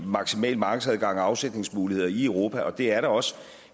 maksimal markedsadgang og afsætningsmuligheder i europa og det er der også